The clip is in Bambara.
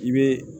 I bɛ